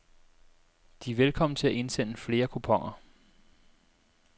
De er velkommen til at indsende flere kuponer.